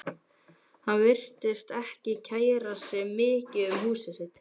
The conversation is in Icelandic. Hann virtist ekki kæra sig mikið um húsið sitt.